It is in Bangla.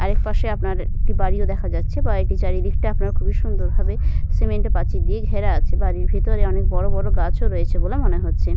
আরেক পাশে আপনার একটি বাড়িও দেখা যাচ্ছে। বাড়িটির চারিদিকটা আপনার খুবই সুন্দর ভাবে সিমেন্ট এর প্রাচীর দিয়ে ঘেরা আছে। বাড়ির ভিতরে অনেক বড়বড় গাছ ও রয়েছে বলে মনে হচ্ছে।